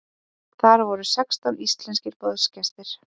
Þar voru sextán íslenskir boðsgestir.